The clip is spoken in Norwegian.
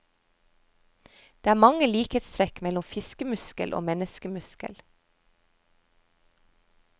Det er mange likhetstrekk mellom fiskemuskel og menneskemuskel.